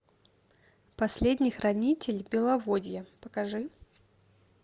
последний хранитель беловодья покажи